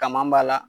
Kama b'a la